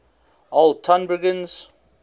old tonbridgians